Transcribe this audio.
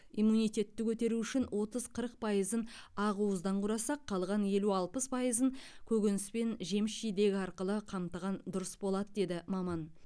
иммунитетті көтеру үшін отыз қырық пайызын ақуыздан құрасақ қалған елу алпыс пайызын көкөніс пен жеміс жидек арқылы қамтыған дұрыс болады деді маман